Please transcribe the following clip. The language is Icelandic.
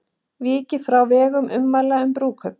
Vikið frá vegna ummæla um brúðkaup